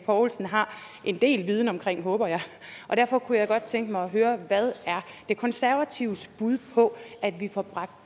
poulsen har en del viden om håber jeg og derfor kunne jeg godt tænke mig at høre hvad er de konservatives bud på at vi får bragt